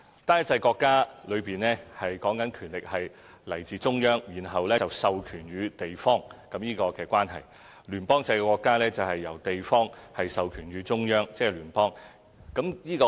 單一制國家的權力來自中央，然後授權予地方；聯邦制國家則由地方授權予中央，即是聯邦。